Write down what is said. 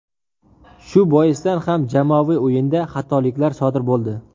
Shu boisdan ham jamoaviy o‘yinda xatoliklar sodir bo‘ldi.